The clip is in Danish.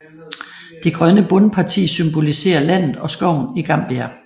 Det grønne bundparti symboliserer landet og skoven i Gambia